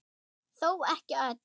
Þó ekki öll.